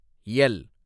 L